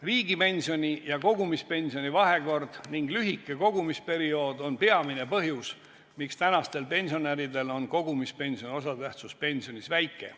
Riigipensioni ja kogumispensioni vahekord ning lühike kogumisperiood on peamine põhjus, miks tänastel pensionäridel on kogumispensioni osatähtsus pensionis väike.